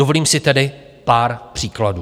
Dovolím si tedy pár příkladů.